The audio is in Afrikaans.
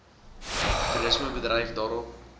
toerisme bedryf daarop